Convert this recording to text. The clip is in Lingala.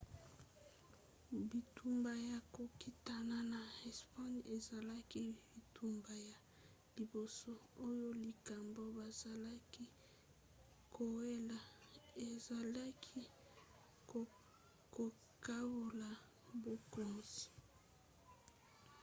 bitumba ya kokitana ya espagne ezalaki bitumba ya liboso oyo likambo bazalaki kowela ezalaki kokabola bokonzi